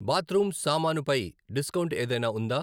Bathroom సామాను పై discount ఏదైనా ఉందా?